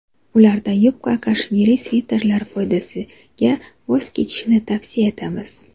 Ulardan yupqa kashmiri sviterlar foydasiga voz kechishni tavsiya etamiz.